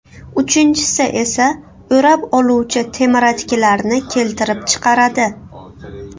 Uchinchisi esa o‘rab oluvchi temiratkilarni keltirib chiqaradi.